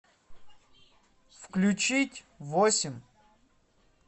включить восемь